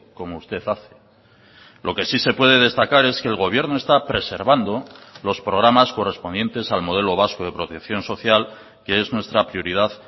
como usted hace lo que sí se puede destacar es que el gobierno está preservando los programas correspondientes al modelo vasco de protección social que es nuestra prioridad